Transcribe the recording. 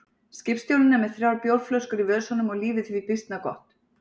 Skipstjórinn er með þrjár bjórflöskur í vösunum og lífið því býsna gott.